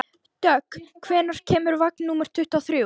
Dögg, hvenær kemur vagn númer tuttugu og þrjú?